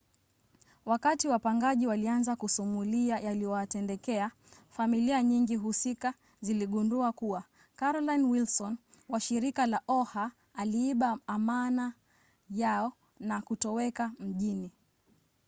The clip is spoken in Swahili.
wakati wapangaji walianza kusumulia yaliyowatendekea familia nyingi husika ziligundua kuwa carolyn wilson wa shirika la oha aliiba amana yao na kutoweka mjini